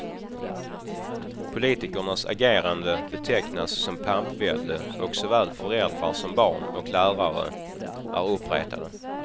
Politikernas agerande betecknas som pampvälde och såväl föräldrar som barn och lärare är uppretade.